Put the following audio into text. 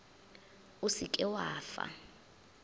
o se ke wa fa